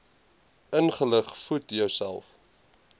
ingelig voed jouself